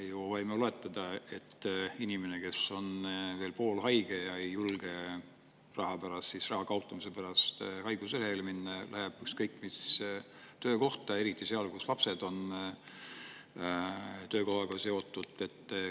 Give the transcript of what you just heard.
Me ju võime oletada, et inimene, kes on veel poolhaige, aga ei julge raha kaotamise pärast haiguslehele minna, läheb ükskõik mis töökohta, ka siis, kui lapsed on sellega seotud.